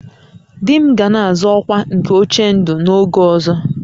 "Di m ga na-azọ ọkwa nke "Ochendo" n'oge ọzọ "